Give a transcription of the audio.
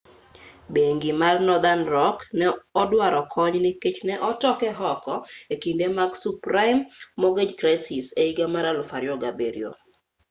bengi mar nothern rock ne oduaro kony nikech ne otoke oko e kinde mag subprime mortgage crisis e higa mar 2007